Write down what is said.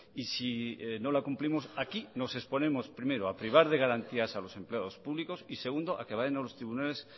y si no la cumplimos aquí nos exponemos primero a privar de garantías a los empleados públicos y segundo a que vayan a los tribunales